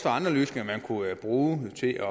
andre løsninger man kunne bruge til at